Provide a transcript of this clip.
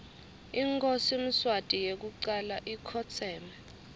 inkhosi mswati yekucala ikhotseme